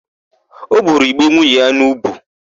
O buru ìgbé nwunye ya n'ùbú.